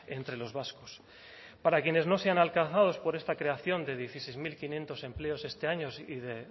entre los vascos para quienes no sean alcanzados por esta creación de dieciséis mil quinientos empleos este año y de